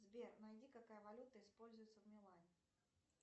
сбер найди какая валюта используется в милане